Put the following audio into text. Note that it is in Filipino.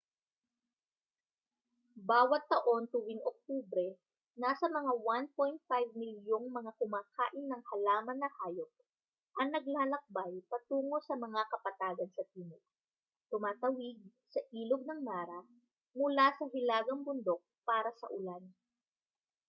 bawat taon tuwing oktubre nasa mga 1.5 milyong mga kumakain ng halaman na hayop ang naglalakbay patungo sa mga kapatagan sa timog tumatawid sa ilog ng mara mula sa hilagang bundok para sa ulan